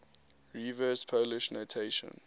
reverse polish notation